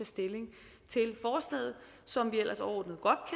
stilling til forslaget som vi ellers overordnet godt